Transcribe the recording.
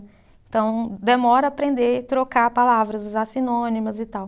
Então, demora aprender trocar palavras, usar sinônimas e tal.